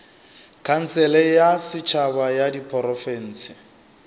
khansele ya setšhaba ya diprofense